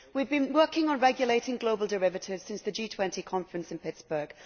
We have been working on regulating global derivatives since the G20 conference in Pittsburgh.